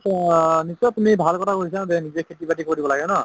ত নিশ্চয় তুমি ভাল কথা কৈছা যে নিজে খেতি বাতি কৰিব লাগে ন?